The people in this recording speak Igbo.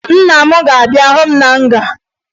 Nna m ga-abịa hụ m na nga